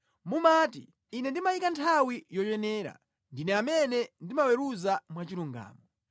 Mumati, “Ine ndimayika nthawi yoyenera, ndine amene ndimaweruza mwachilungamo.